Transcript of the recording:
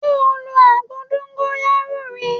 Ṣé o lo àgbo dóńgóyárò rí?